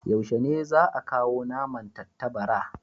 Yaushe ne za ka kawo naman tattabara?